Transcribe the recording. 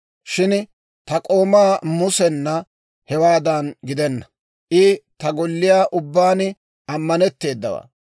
Shin ta k'oomaa Musena hewaadan gidenna; I ta golliyaa ubbaan ammanetteedawaa.